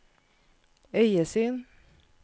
øyesyn